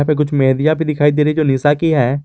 पे कुछ मेहंदिया भी दिखाई दे रही जो निशा की है।